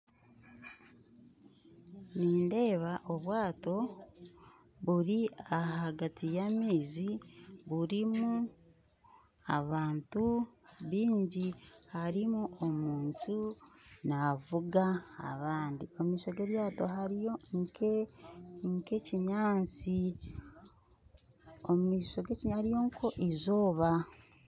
Nindeeba obwato buri ahagati ya maizi burimu abantu baingi ,harimu omuntu navuga abandi omumaisho geryato hariyo nk'ekyinyantsi ,omumaisho gekyinyantsi hariyo nk'eizooba